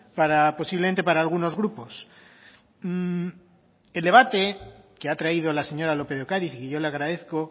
para posiblemente para algunos grupos el debate que ha traído la señora lópez de ocáriz y yo le agradezco